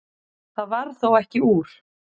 Það varð þó ekki úr.